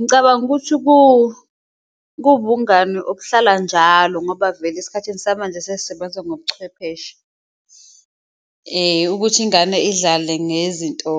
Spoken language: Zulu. Ngicabanga ukuthi kuwubungani obuhlala njalo ngoba vele esikhathini samanje sesisebenza ngobuchwepheshe ukuthi ingane idlale ngezinto